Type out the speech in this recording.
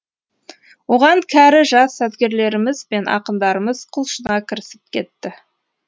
оған кәрі жас сазгерлеріміз бен ақындарымыз құлшына кірісіп кетті